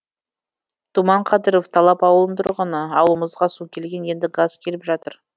думан қадыров талап ауылының тұрғыны ауылымызға су келген енді газ келіп жатыр